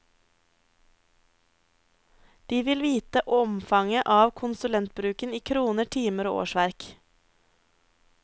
De vil vite omfanget av konsulentbruken i kroner, timer og årsverk.